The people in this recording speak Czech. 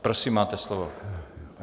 Prosím, máte slovo.